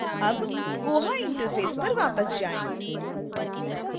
अब koha interface पर वापस जाएँ